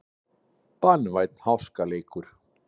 Banvænn háskaleikur